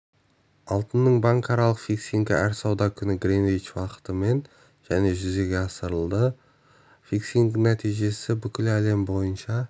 алтынның банкаралық фиксингі әр сауда күні гринвич уақытымен және жүзеге асырылады фиксингтің нәтижесі бүкіл әлем бойынша